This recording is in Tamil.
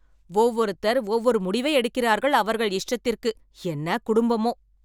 ஒவ்வொருத்தர் ஒவ்வொரு முடிவை எடுக்கிறார்கள். அவர்கள் இஷ்டத்திற்கு என்ன குடும்பமோ